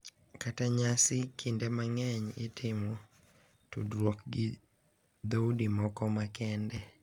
Kaka nyasi kinde mang’eny itimo tudruok gi dhoudi moko makende.